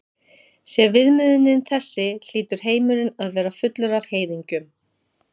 Sé viðmiðunin þessi hlýtur heimurinn að vera fullur af heiðingjum.